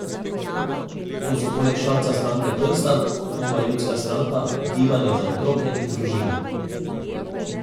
To so poleg Šarca stranke Prstan, Nova ljudska stranka, Gibanje za otroke in družino.